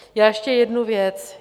Já ještě jednu věc.